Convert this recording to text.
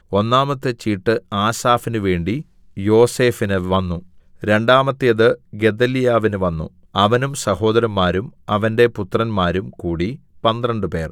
ഒന്നാമത്തെ ചീട്ടു ആസാഫിന് വേണ്ടി യോസേഫിന് വന്നു രണ്ടാമത്തേത് ഗെദല്യാവിന് വന്നു അവനും സഹോദരന്മാരും അവന്റെ പുത്രന്മാരും കൂടി പന്ത്രണ്ടുപേർ